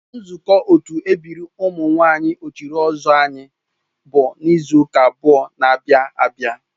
Nzukọ otu ebiri ụmụ nwanyị ochiri ozuor anyị bụ n'izu ụka abụọ n'abia abia